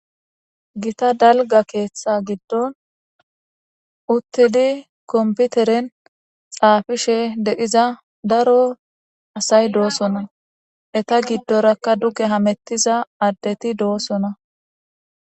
Gita dalga keeththa giddon uttidi komputeren xaafishe deiza daro asay doosona eta giddorakka duge hamettiza addeti doosona